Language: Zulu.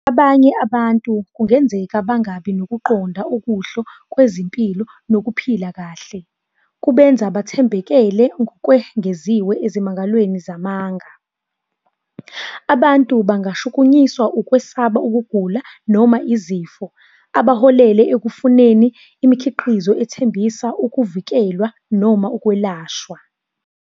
Abanye abantu kungenzeka bangabi nokuqonda okuhle kwezimpilo nokuphila kahle. Kubenza bathembekele kwengeziwe ezimangalweni zamanga. Abantu bangashukunyiswa ukwesaba ukugula noma izifo, abaholele ekufuneni imikhiqizo ethembisa ukuvikelwa noma ukwelashwa.